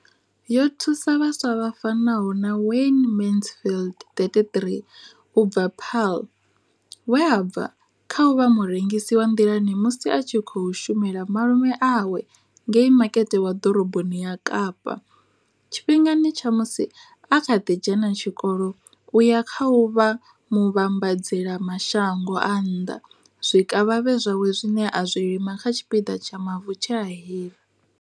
Yo thusa vhaswa vha fanaho na Wayne Mansfield 33 u bva Paarl, we a bva kha u vha murengisi wa nḓilani musi a tshi khou shumela malume awe ngei makete wa ḓoroboni ya Kapa tshifhingani tsha musi a kha ḓi dzhena tshikolo u ya kha u vha muvhambadzela mashango a nnḓa zwikavhavhe zwawe zwine a zwi lima kha tshipiḓa tsha mavu tshe a hira.